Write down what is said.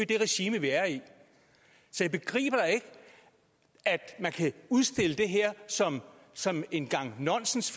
det regime vi er i så jeg begriber ikke at man kan udstille det her som som en gang nonsens